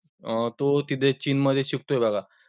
अं तो तिथे चीन मध्ये shift झाला.